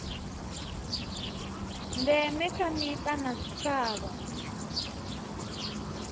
ndeme kha mita na zwitshavha